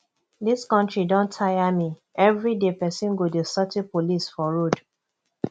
dis country don tire me everyday person go dey settle police for road